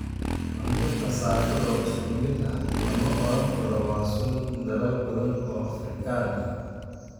Cunto kasaafada oo isku mid ah, lama odhan karo waa sun dalal badan oo Afrikaan ah.